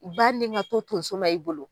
Ba ni ka to tonso ma i bolo